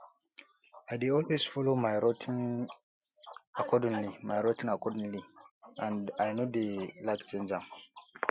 i dey always follow my routine accordingly my routine accordingly and i no dey like change am